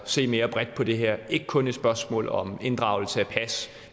se mere bredt på det her er ikke kun er spørgsmålet om inddragelse af pas